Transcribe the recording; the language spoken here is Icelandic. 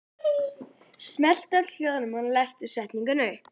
En eru þeir enn í séns á að fara upp?